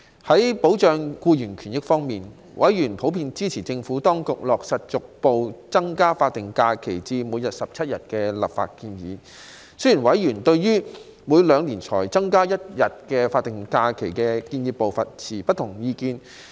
在保障僱員權益方面，委員普遍支持政府當局落實逐步增加法定假日至每年17日的立法建議，但委員對於每兩年才增加一日法定假日的建議步伐，持不同意見。